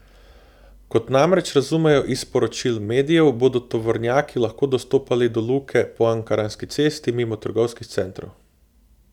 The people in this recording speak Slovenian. Kot namreč razumejo iz poročil medijev, bodo tovornjaki lahko dostopali do Luke po Ankaranski cesti mimo trgovskih centrov.